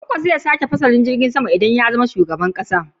Kwankwaso zai sake fasalin filin jirgin sama idan ya zama shugaban ƙasa